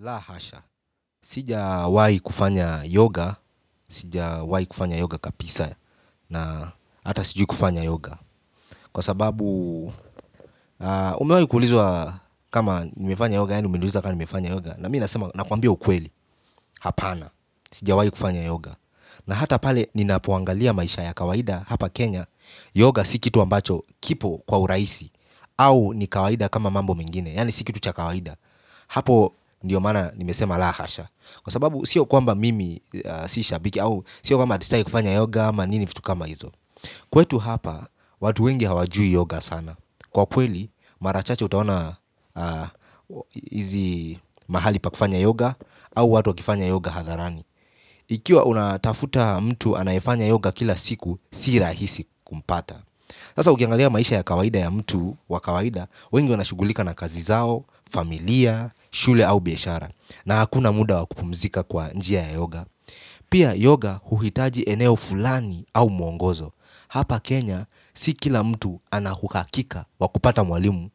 La hasha, sija wai kufanya yoga, sija wai kufanya yoga kapisa na hata sijui kufanya yoga kwa sababu umewai kuulizwa kama nimefanya yoga, yaani umeniuliza kama nimefanya yoga na mi nasema nakwambia ukweli, hapana, sijawai kufanya yoga na hata pale ninapo angalia maisha ya kawaida hapa Kenya. Yoga si kitu ambacho kipo kwa uraisi au ni kawaida kama mambo mengine, yaani si kitu cha kawaida hapo ndiyo maana nimesema la hasha kwa sababu sio kwamba mimi si shabiki au sio kwamba ati sitaki kufanya yoga ama nini vitu kama hizo kwetu hapa watu wengi hawajui yoga sana kwa kweli mara chache utaona hizi mahali pa kufanya yoga au watu wakifanya yoga hadharani ikiwa unatafuta mtu anayefanya yoga kila siku si rahisi kumpata sasa ukiangalia maisha ya kawaida ya mtu wa kawaida wengi wanashughulika na kazi zao, familia, shule au biashara na hakuna muda wa kupumzika kwa njia ya yoga pia yoga huhitaji eneo fulani au mwongozo. Hapa Kenya si kila mtu ana uhakika wa kupata mwalimu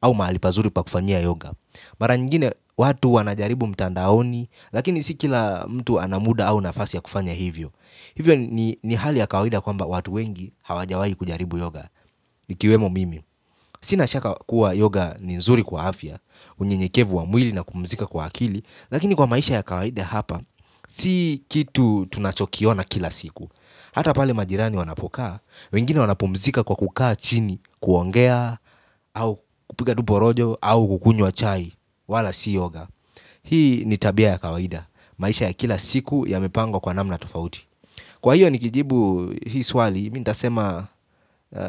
au mahali pazuri pa kufanyia yoga mara nyingine watu wanajaribu mtandaoni lakini si kila mtu ana muda au nafasi ya kufanya hivyo hivyo ni ni hali ya kawaida kwamba watu wengi hawajawai kujaribu yoga ikiwemo mimi sina shaka kuwa yoga ni nzuri kwa afya unyenyekevu wa mwili na kupumzika kwa akili lakini kwa maisha ya kawaida hapa. Sii kitu tunachokiona kila siku hata pale majirani wanapokaa wengine wanapumzika kwa kukaa chini kuongea au kupiga tu porojo au kukunywa chai wala si yoga hii ni tabia ya kawaida maisha ya kila siku yamepangwa kwa namna tofauti kwa hiyo nikijibu hii swali mi ntasema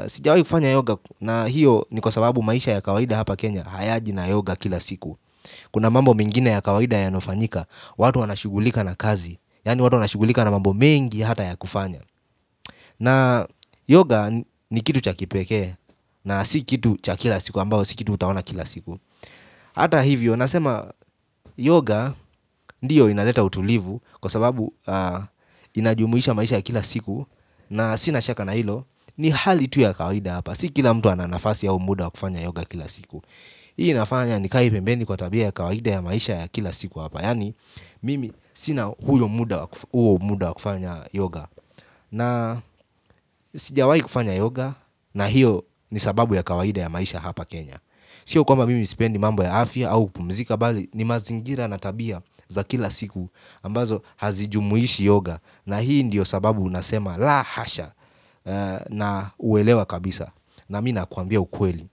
sijawai kufanya yoga na hiyo ni kwa sababu maisha ya kawaida hapa Kenya hayaji na yoga kila siku kuna mambo mengine ya kawaida yanayofanyika watu wanashughulika na kazi yaani watu wanashughulika na mambo mengi hata ya kufanya na yoga ni kitu cha kipekee na si kitu cha kila siku ambayo si kitu utaona kila siku hata hivyo nasema yoga ndiyo inaleta utulivu kwa sababu inajumuisha maisha ya kila siku na sina shaka na hilo ni hali tu ya kawaida hapa si kila mtu ana nafasi au muda wa kufanya yoga kila siku hii inafanya nikae pembeni kwa tabia ya kawaida ya maisha ya kila siku hapa yaani mimi sina huyo muda huo muda wa kufanya yoga na sijawai kufanya yoga na hiyo ni sababu ya kawaida ya maisha hapa Kenya. Sio kwamba mimi sipendi mambo ya afya au kupumzika bali ni mazingira na tabia za kila siku ambazo hazijumuishi yoga na hii ndiyo sababu unasema lahasha na uwelewa kabisa na mi nakuambia ukweli,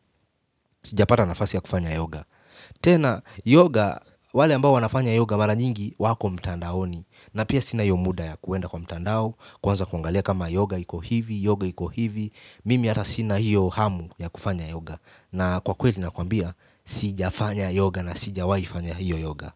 sijapata nafasi ya kufanya yoga tena, yoga, wale ambao wanafanya yoga mara nyingi wako mtandaoni na pia sina iyo muda ya kuenda kwa mtandao, kuanza kuangalia kama yoga iko hivi, yoga iko hivi mimi ata sina hiyo hamu ya kufanya yoga na kwa kweli nakuambia, sijafanya yoga na sijawai fanya hiyo yoga.